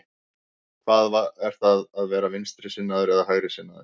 Hvað er það að vera vinstrisinnaður eða hægrisinnaður?